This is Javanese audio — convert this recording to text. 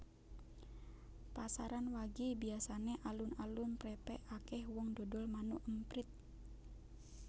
Pasaran wage biasane alun alun prepek akeh wong dodol manuk emprit